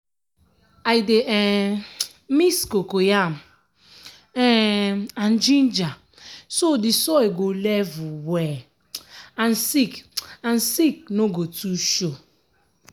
i dey um mix cocoyam um and ginger so the soil go level well and sick and sick no go too show.